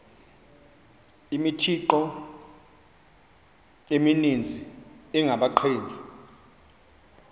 imithqtho emininzi engabaqbenzi